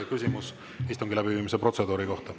Küsimus istungi läbiviimise protseduuri kohta.